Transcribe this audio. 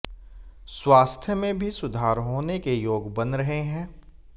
स्वास्थ्य में भी सुधार होने के योग बन रहे हैं